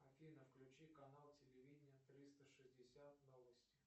афина включи канал телевидения триста шестьдесят новости